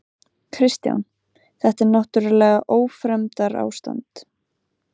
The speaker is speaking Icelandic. Kristján: Þetta er náttúrlega ófremdarástand?